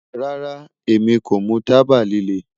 Rara, Emi ko mu taba lile